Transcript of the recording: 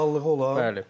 İndividuallığı olan.